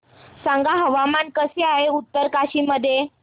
सांगा हवामान कसे आहे उत्तरकाशी मध्ये